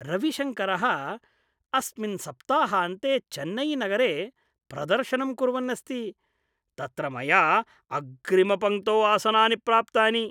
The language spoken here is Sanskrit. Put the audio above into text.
रविशङ्करः अस्मिन् सप्ताहान्ते चेन्नै नगरे प्रदर्शनं कुर्वन् अस्ति | तत्र मया अग्रिम पङ्क्तौ आसनानि प्राप्तानि!